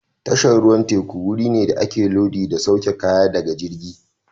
Tashar ruwan teku wuri ne da ake lodi da sauke kaya daga jirgi.